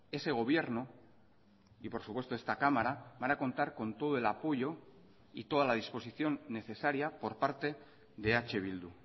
ese gobierno y por supuesto esta cámara van a contar con todo el apoyo y toda la disposición necesaria por parte de eh bildu